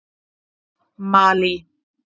Malí